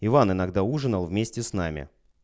иван иногда ужинал вместе с нами